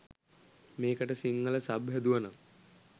මේකට සිංහල සබ් හැදුවනම්